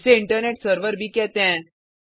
इसे internet server भी कहते हैं